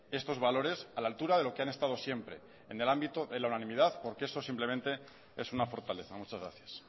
estos valores a la altura de lo que han estado siempre en el ámbito de la unanimidad porque eso simplemente es una fortaleza muchas gracias